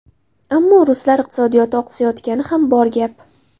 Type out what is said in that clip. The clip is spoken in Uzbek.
Ammo ruslar iqtisodiyoti oqsayotgani ham bor gap.